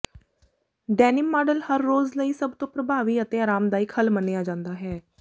denim model ਹਰ ਰੋਜ਼ ਲਈ ਸਭ ਤੋਂ ਪ੍ਰਭਾਵੀ ਅਤੇ ਅਰਾਮਦਾਇਕ ਹੱਲ ਮੰਨਿਆ ਜਾਂਦਾ ਹੈ